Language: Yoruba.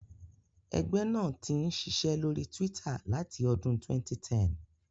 Ẹgbẹ́ náà ti ń ṣiṣẹ́ lórí Twitter láti ọdún 2010.